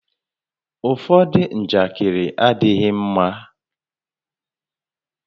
Ụfọdụ njakịrị adịghị ḿmá